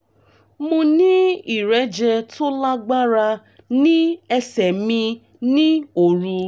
mo ní ìrẹ́jẹ tó lágbára ní ẹsẹ̀ mi ní òru